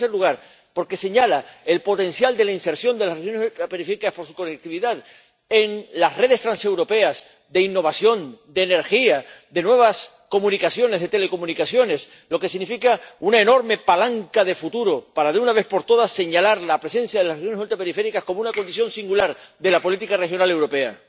Pero, en tercer lugar, porque señala el potencial de la inserción de las regiones ultraperiféricas por su conectividad en las redes transeuropeas de innovación, de energía, de nuevas comunicaciones, de telecomunicaciones, lo que significa una enorme palanca de futuro para, de una vez por todas, señalar la presencia de las regiones ultraperiféricas como una condición singular de la política regional europea.